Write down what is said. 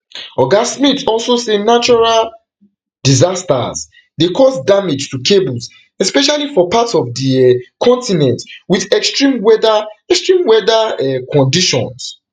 oga smith also say natural disasters dey cause damage to cables especially for parts of di um continent with extreme weather extreme weather um conditions